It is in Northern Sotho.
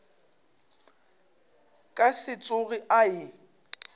ka se tsoge a e